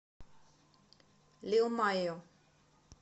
лил майо